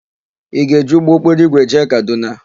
Ị ga-eji ụgbọokporoigwe jee Kadụna?